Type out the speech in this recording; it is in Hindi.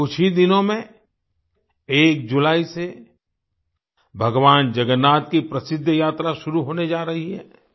अभी कुछ ही दिनों में 1 जुलाई से भगवान जगन्नाथ की प्रसिद्ध यात्रा शुरू होने जा रही है